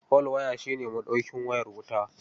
Folwaya shi ne maɗaukin wayar wuta..